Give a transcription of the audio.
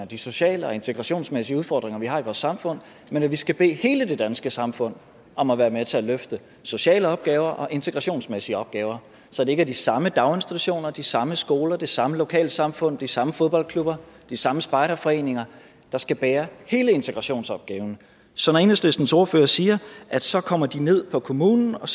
de sociale og integrationsmæssige udfordringer vi har i vores samfund men at vi skal bede hele det danske samfund om at være med til at løfte sociale opgaver og integrationsmæssige opgaver så det ikke er de samme daginstitutioner de samme skoler det samme lokalsamfund de samme fodboldklubber og de samme spejderforeninger der skal bære hele integrationsopgaven så når enhedslistens ordfører siger at så kommer de ned på kommunen og